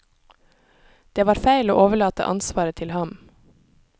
Det var feil å overlate ansvaret til ham.